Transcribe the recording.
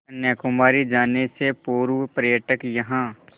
कन्याकुमारी जाने से पूर्व पर्यटक यहाँ